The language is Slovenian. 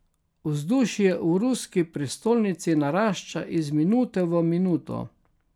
Vzdušje v ruski prestolnici narašča iz minute v minuto.